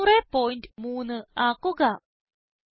300 3003 ആക്കുക